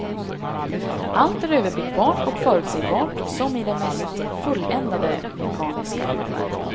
Allt är överblickbart och förutsägbart som i det mest fulländade mekaniska urverk.